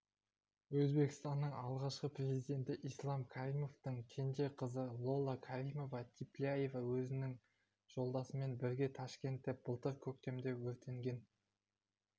өзбекстанның алғашқы президенті ислам каримовтің кенже қызы лола каримова-тилляева өзінің жолдасымен бірге ташкентте былтыр көктемде өртенген